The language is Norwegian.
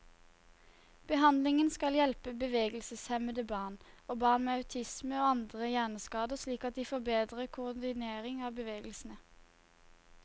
Behandlingen skal hjelpe bevegelseshemmede barn, og barn med autisme og andre hjerneskader slik at de får bedre koordinering av bevegelsene.